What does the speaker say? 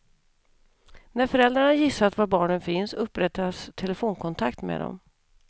När föräldrarna gissat var barnen finns upprättas telefonkontakt med dem.